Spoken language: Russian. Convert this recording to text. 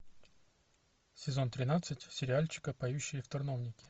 сезон тринадцать сериальчика поющие в терновнике